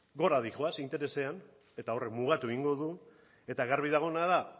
gora doaz interesean eta horrek mugatu egingo du eta garbi dagoena da